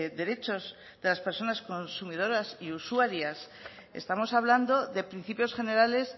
derechos de las personas consumidoras y usuarias estamos hablando de principios generales